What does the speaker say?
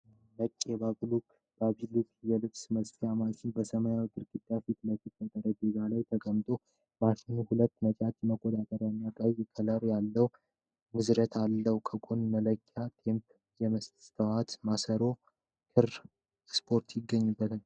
ነጭ የባቢሎክ (Baby Lock) የልብስ መስፊያ ማሽን በሰማያዊ ግድግዳ ፊት ለፊት በጠረጴዛ ላይ ተቀምጧል። ማሽኑ ሁለት ነጭ መቆጣጠሪያዎች እና ቀይ ክር ያለው እንዝርት አለው። ከጎኑ መለኪያ ቴፕና የመስታወት ማሰሮ የክር ስፑል ይገኛል።